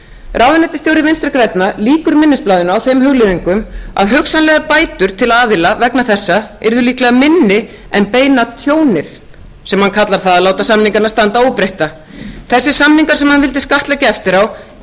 ráðuneytisstjóri vinstri grænna lýkur minnisblaðinu á þeim hugleiðingum að hugsanlegar bætur til aðila vegna þessa yrðu líklega minni en beina tjónið sem hann kallar það að láta samningana standa óbreytta þessir samningar sem hann vildi skattleggja eftir á gerðu menn